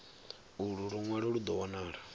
ulu lunwalo lu do wanala